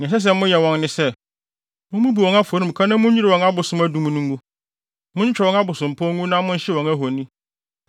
Nea ɛsɛ sɛ moyɛ wɔn ne sɛ, mummubu wɔn afɔremuka na munnwiriw wɔn abosom adum no ngu. Muntwitwa wɔn abosompɔw ngu na monhyew wɔn ahoni.